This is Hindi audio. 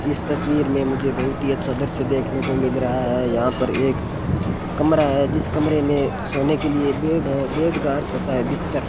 इस तस्वीर में मुझे बहुत ही अच्छा दृश्य देखने को मिल रहा है यहां पर एक कमरा है जिस कमरे में सोने के लिए बेड है बेड का अर्थ होता है बिस्तर।